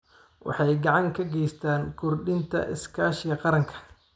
Waxay gacan ka geystaan ??kordhinta iskaashiga qaranka.